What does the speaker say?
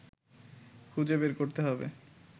খুঁজে বের করতে হবে